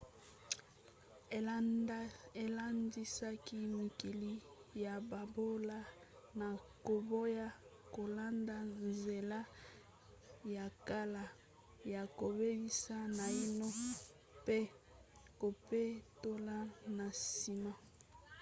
alendisaki mikili ya bobola na koboya kolanda nzela ya kala ya kobebisa naino mpe kopetola na nsima.